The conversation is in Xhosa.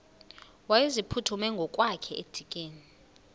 wayeziphuthume ngokwakhe edikeni